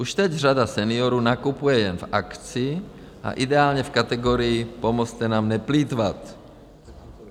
Už teď řada seniorů nakupuje jen v akci a ideálně v kategorii "pomozte nám neplýtvat".